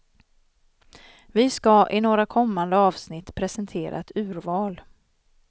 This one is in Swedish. Vi ska i några kommande avsnitt presentera ett urval.